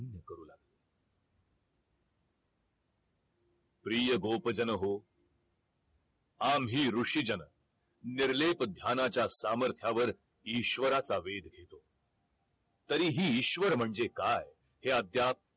प्रिय गोप जन हो आम्ही ऋषी जन निर्लेप ध्यानाच्या सामर्थ्यावर ईश्वराचा वेघ घेतो तरीही ईश्वर म्हणजे काय? हे अद्याप